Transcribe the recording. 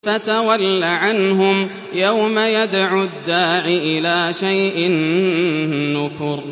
فَتَوَلَّ عَنْهُمْ ۘ يَوْمَ يَدْعُ الدَّاعِ إِلَىٰ شَيْءٍ نُّكُرٍ